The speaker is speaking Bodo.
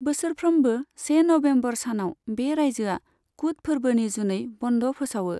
बोसोरफ्रोमबो से नबेम्बर सानाव बे रायजोआ कुट फोरबोनि जुनै बन्द फोसावो।